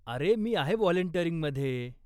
अरे, मी आहे व्हॉलंटिअरिंगमध्ये.